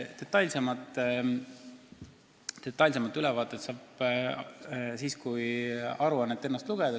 Detailsema ülevaate saab siis, kui aruannet ennast lugeda.